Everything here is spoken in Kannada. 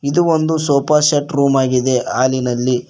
ಇದು ಒಂದು ಸೋಫಾ ಸೆಟ್ ರೂಮ್ ಆಗಿದೆ ಹಾಲಿನಲ್ಲಿ.